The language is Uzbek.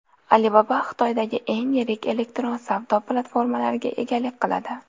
Alibaba Xitoydagi eng yirik elektron savdo platformalariga egalik qiladi.